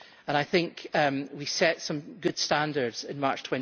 I think we set some good standards in March